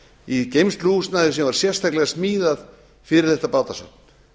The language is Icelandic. í geymsluhúsnæði sem var sérstaklega smíðað fyrir þetta bátasafn